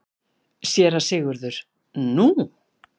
SÉRA SIGURÐUR: Nú?